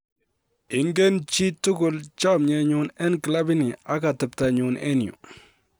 "Ingen chi tugul chomyenyun en kilabini ak ateptanyun en yu.